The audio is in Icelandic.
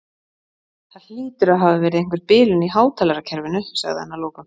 Það hlýtur að hafa verið einhver bilun í hátalarakerfinu sagði hann að lokum.